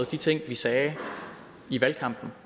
de ting vi sagde i valgkampen